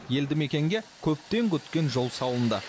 елді мекенге көптен күткен жол салынды